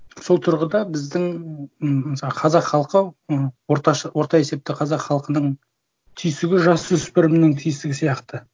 сол тұрғыда біздің м мысалға қазақ халқы ы орта есепте қазақ халқының түйсігі жасөспірімнің түйсігі сияқты